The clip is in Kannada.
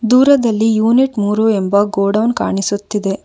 ದೂರದಲ್ಲಿ ಯೂನಿಟ್ ಮೂರು ಎಂಬ ಗೋಡೌನ್ ಕಾಣಿಸುತ್ತಿದೆ.